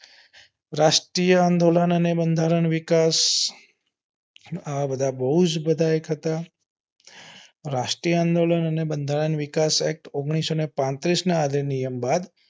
રાષ્ટ્રીય આંદોલન અને બંધારણ વિકાસ આ બધા બહુ જ act હતા રાષ્ટ્રીય આંદોલન અને બંધારણ વિકાસ act ઓન્ગ્લીસો ને પાત્રીસ અધિનિયમ બાદ